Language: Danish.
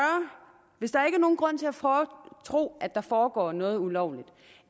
hvis der ikke er nogen grund til at tro at der foregår noget ulovligt